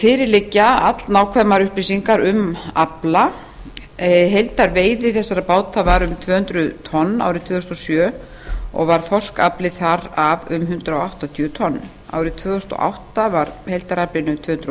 fyrir liggja allnákvæmar upplýsingar um afla heildarveiði þessara báta var um tvö hundruð tonn árið tvö þúsund og sjö og var þorskafli þar af um hundrað áttatíu tonn árið tvö þúsund og átta var heildaraflinn um tvö hundruð